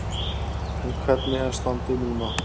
En hvernig er standið núna?